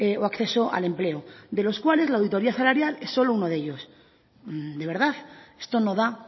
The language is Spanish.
o acceso al empleo de los cuales la auditoria salarial es solo uno de ellos de verdad esto no da